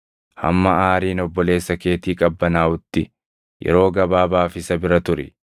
Hamma aariin obboleessa keetii qabbanaaʼutti yeroo gabaabaaf isa bira turi.